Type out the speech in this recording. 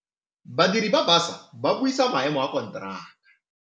Badiri ba baša ba ne ba buisa maêmô a konteraka.